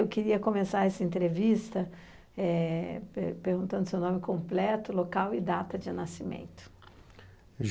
Eu queria começar essa entrevista perguntando seu nome completo, local e data de nascimento.